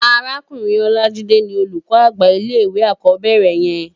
Árákúrin Olajide ni ólúkò ágbá ilé iwé ákòbèrè yèn